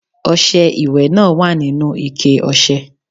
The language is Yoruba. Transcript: Ọṣẹ ìwẹ̀ náà wà nínú ikẹ ọṣẹ.